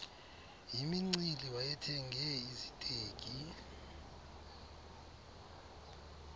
yimincili wayethenge iziteki